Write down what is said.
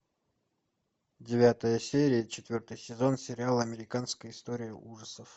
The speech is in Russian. девятая серия четвертый сезон сериал американская история ужасов